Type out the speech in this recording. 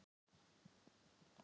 Ég ýti honum á undan mér.